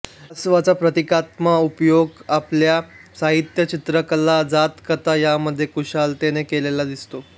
कासवाचा प्रतीकात्मक उपयोग आपल्याला साहित्य चित्रकला जातककथा यामध्ये कुशलतेने केलेला दिसतो